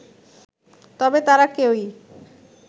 তবে তারা কেউই